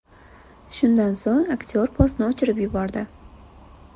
Shundan so‘ng aktyor postni o‘chirib yubordi.